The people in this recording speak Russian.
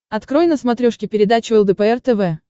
открой на смотрешке передачу лдпр тв